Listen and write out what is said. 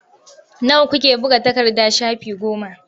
Nawa kuke buga takarda shafi goma.